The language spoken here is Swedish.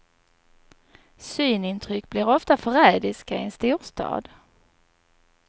Synintryck blir ofta förrädiska i en storstad.